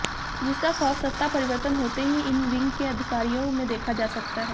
जिसका खौफ सत्ता परिवर्तन होते ही इन विंग के अधिकारियों में देखा जा सकता है